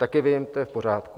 Taky vím, to je v pořádku.